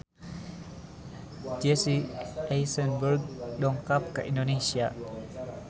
Jesse Eisenberg dongkap ka Indonesia